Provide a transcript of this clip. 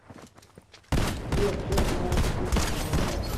сбер чем платят у жителей макао